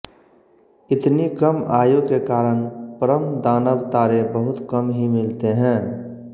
इतनी कम आयु के कारण परमदानव तारे बहुत कम ही मिलते हैं